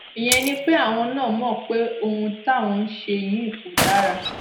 ìyẹn ni pé àwọn náà mọ pé ohun táwọn ń ṣe yìí kò dára